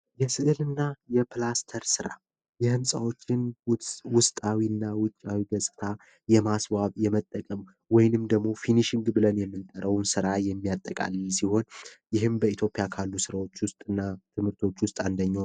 የስዕልና የፕላስቲክስ ራ የህንፃዎችንና ውጭ አዊ የማስዋብ የመጠቀም ወይም ደግሞ ራ የሚያጠቃለድ ሲሆን